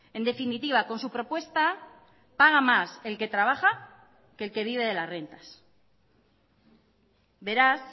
en definitiva con su propuesta paga más el que trabaja que el que vive de las rentas beraz